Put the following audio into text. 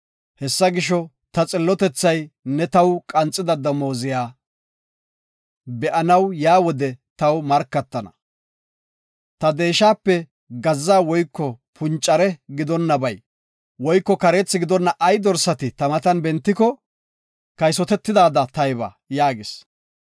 Hessa gisho, ta xillotethay ne taw qanxida damooziya be7anaw yaa wode taw markatana. Ta deeshape gazza woyko puncare gidonabay woyko kareethi gidonna ay dorsati ta matan bentiko, kaysotetidaada tayba” yaagis.